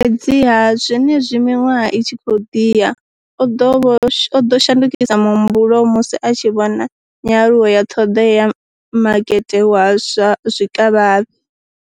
Fhedziha, zwenezwi miṅwaha i tshi khou ḓi ya, o ḓo shandukisa muhumbulo musi a tshi vhona nyaluwo ya ṱhoḓea ya makete wa zwa zwikavhavhe.